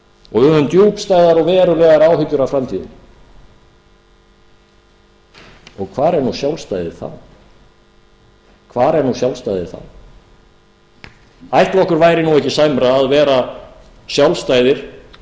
og við höfum djúpstæðar og verulegar áhyggjur af framtíðinni hvar er nú sjálfstæðið þá ætli okkur væri ekki sæmra að vera sjálfstæðir